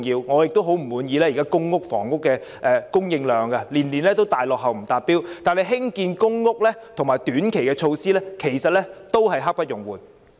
我雖然不滿意現時公屋每年的供應量大幅落後、不達標，但興建公屋及短期措施卻刻不容緩。